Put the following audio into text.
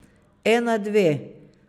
Ena, dve.